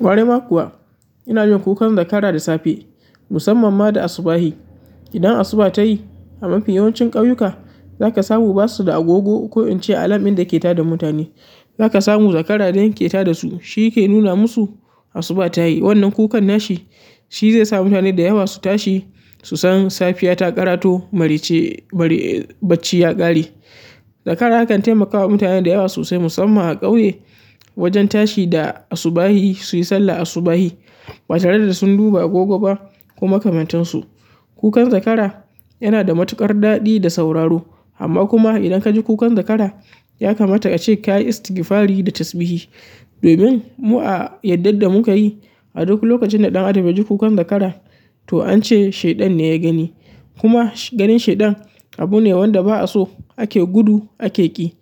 Ƙwarai ma kuwa ina jin kukan zakara da safe musamman ma da asubahi. Idan asuba ta yi a mafi yawancin ƙauyuka zaka samu basu da agogo ko in ce alamin da ke tada mutane. Zaka samu zakara ne yake tada su, shi yake nuna masu asuba ta yi. Wannan kukan nashi shi zai sa mutane da yawa su tashi su san safiya ta ƙarato marai ce marai bacci ya ƙare. Zakara yakan taimakawa mutane da yawa sosai musamman a ƙauye wajen tashi da asubahi su yi sallah asubahi ba tare da sun duba agogo ba ko makamantansu. Kukan zakara yana da matuƙar daɗi da sauraro. Amma kuma idan ka ji kukan zakara ya kamata ka ce ka yi istigfari da tasbihi. Domin mu a yardar da muka yi a duk lokacin da ɗan adam ya ji kukan zakara to an ce shaiɗan ne ya gani. Kuma ganin shaiɗan abu ne wanda ba a so ake gudu ake ƙi.